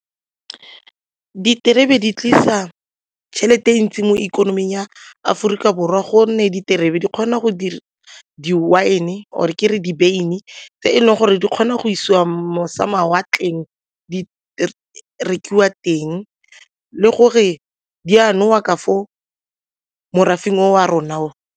Diterebe di tlisa tšhelete ntsi mo ikonoming ya Aforika Borwa gonne diterebe di kgona go dira di-wine or ke re dibeine tse e leng gore di kgona go isiwa mošamawatleng di rekiwa teng le gore di a nowa ka for morafe wa rona.